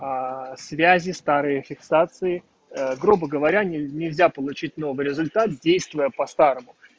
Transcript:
связи старые фиксации грубо говоря нельзя получить новый результат действия по-старому